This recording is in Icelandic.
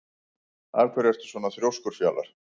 Af hverju ertu svona þrjóskur, Fjalar?